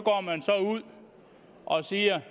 ud og siger